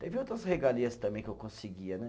Teve outras regalias também que eu conseguia, né?